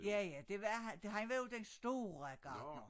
Ja ja det var han var jo den store gartner